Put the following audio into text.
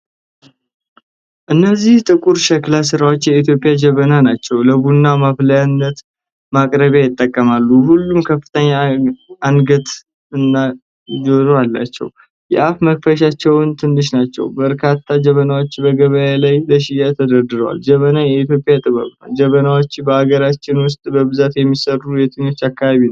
እነዚህ ጥቁር የሸክላ ሥራዎች የኢትዮጵያ ጀበናዎች ናቸው። ለቡና ማፍላትና ማቅረቢያ ይጠቅማሉ። ሁሉም ከፍተኛ አንገትና እጀታ አላቸው። የአፍ መክፈቻዎቻቸው ትንሽ ናቸው። በርካታ ጀበናዎች በገበያ ላይ ለሽያጭ ተደርድረዋል። ጀበና የኢትዮጵያ ጥበብ ነው። ጀበናዎች በአገራችን ውስጥ በብዛት የሚሠሩት የትኞቹ አካባቢዎች ነው?